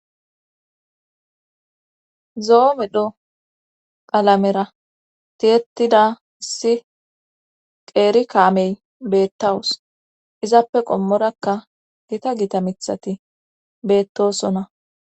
zoo medho qalamera tiyetida si qeeri kaamey beettawus izappe qommorakka gita gita mithati beettosonna